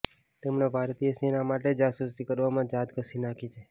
તેમણે ભારતીય સેના માટે જાસૂસી કરવામાં જાત ઘસી નાખી છે